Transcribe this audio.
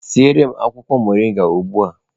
Siere m akwụkwọ mọrịnga ugbu a!